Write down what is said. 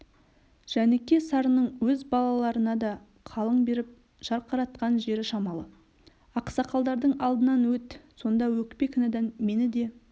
жәніке-сарының өз балаларына да қалың беріп жарқыратқан жері шамалы ақсақалдардың алдынан өт сонда өкпе-кінәдан мені де